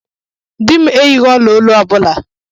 Dị m eyighi ọla olu ọbụla.